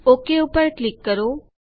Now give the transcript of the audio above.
okay ઉપર click કરો